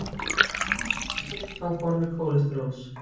oftast er þessi fita á formi kólesteróls